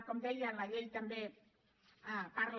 com deia la llei també parla